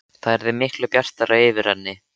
Það yrði miklu bjartara yfir henni.